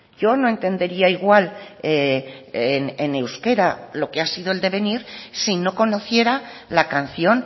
yo no entendería igual en euskera lo que ha sido el devenir si no conociera la canción